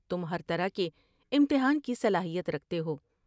تم ہر طرح کے امتحان کی صلاحیت رکھتے ہو ۔